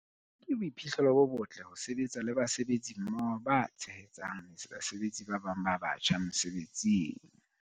Ke boiphihlelo bo botle ho sebetsa le basebetsi mmoho ba tshehetsang basebetsi ba batjha mosebetsing.